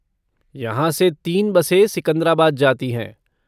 यहाँ से तीन बसें सिकंद्राबाद जाती हैं।